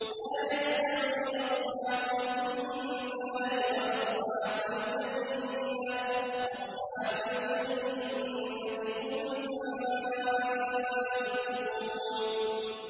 لَا يَسْتَوِي أَصْحَابُ النَّارِ وَأَصْحَابُ الْجَنَّةِ ۚ أَصْحَابُ الْجَنَّةِ هُمُ الْفَائِزُونَ